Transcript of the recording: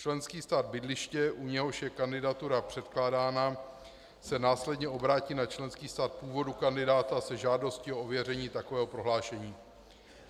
Členský stát bydliště, u něhož je kandidatura předkládána, se následně obrátí na členský stát původu kandidáta se žádostí o ověření takového prohlášení.